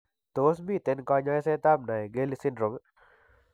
Tos' miten kany'aaysetap Naegeli syndrome?